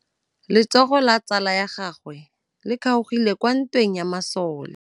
Letsôgô la tsala ya gagwe le kgaogile kwa ntweng ya masole.